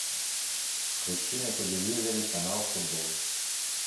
включи на телевизоре канал футбол